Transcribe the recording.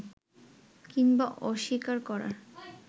কিংবা অস্বীকার করার